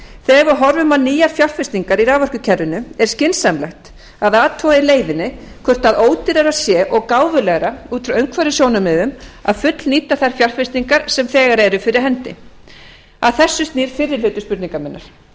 þegar við horfum á nýjar fjárfestingar í raforkukerfinu er skynsamlegt að athuga í leiðinni hvort ódýrara sé og gáfulegra út frá umhverfissjónarmiðum að fullnýta þær fjárfestingar sem þegar eru fyrir hendi að þessu snýr fyrri hluti spurningar minnar